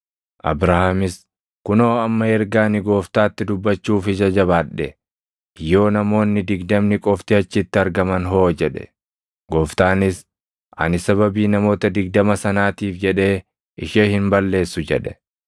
Abrahaamis, “Kunoo amma erga ani Gooftaatti dubbachuuf ija jabaadhe, yoo namoonni digdamni qofti achitti argaman hoo?” jedhe. Gooftaanis, “Ani sababii namoota digdama sanaatiif jedhee ishee hin balleessu” jedhe.